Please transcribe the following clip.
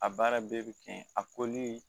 A baara bɛɛ bɛ kɛ yen a